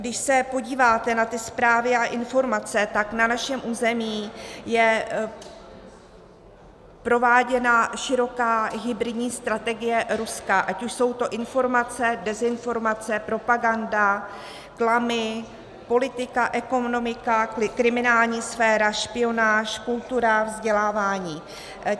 Když se podíváte na ty zprávy a informace, tak na našem území je prováděna široká hybridní strategie Ruska, ať už jsou to informace, dezinformace, propaganda, klamy, politika, ekonomika, kriminální sféra, špionáž, kultura, vzdělávání.